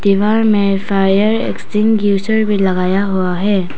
दीवार में fire extinguisher भी लगाया हुआ है।